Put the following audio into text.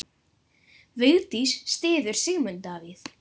Vigdís styður Sigmund Davíð.